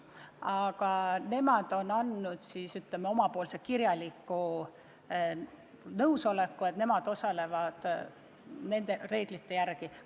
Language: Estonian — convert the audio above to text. Aga nemad kolm on andnud kirjaliku nõusoleku, et nemad korraldavad võistlusi nende reeglite järgi.